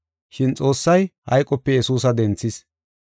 Shin Xoossay hayqope Yesuusa denthis.